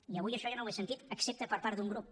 i avui això jo no ho he sentit excepte per part d’un grup